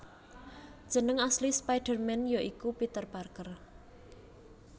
Jeneng asli spider man ya iku Peter Parker